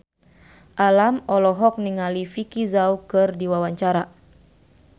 Alam olohok ningali Vicki Zao keur diwawancara